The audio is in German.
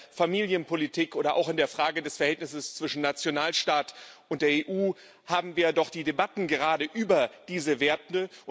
Denn in der Familienpolitik oder auch in der Frage des Verhältnisses zwischen Nationalstaat und der EU haben wir doch die Debatten gerade über diese Werte.